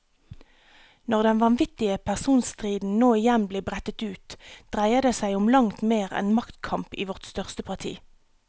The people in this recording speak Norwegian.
Når den vanvittige personstriden nå igjen blir brettet ut, dreier det som om langt mer enn maktkamp i vårt største parti.